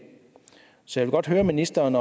så jeg vil godt høre ministeren